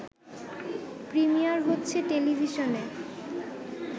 premier হচ্ছে টেলিভিশনে